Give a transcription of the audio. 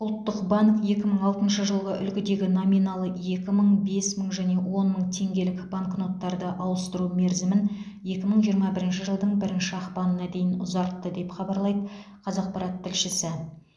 ұлттық банк екі мың алтыншы жылғы үлгідегі номиналы екі мың бес мың және он мың теңгелік банкноттарды ауыстыру мерзімін екі мың жиырма бірінші жылдың бірінші ақпанына дейін ұзартты деп хабарлайды қазақпарат тілшісі